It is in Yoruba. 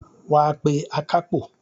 Wàá pé akápò